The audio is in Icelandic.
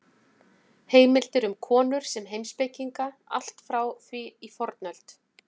Heimildir eru um konur sem heimspekinga allt frá því í fornöld.